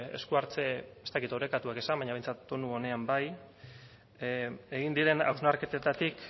esku hartze ez dakit orekatuak esan baina behintzat tonu onean bai egin diren hausnarketetatik